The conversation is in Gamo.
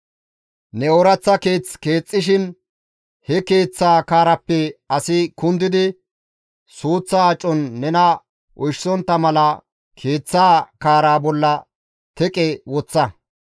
Ne ooraththa keeth keexxashe he keeththaa kaarappe asi kundidi suuththa acon nena oyshisontta mala keeththaa kaara bolla teqe woththa.